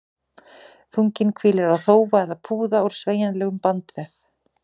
Þunginn hvílir á þófa eða púða úr sveigjanlegum bandvef.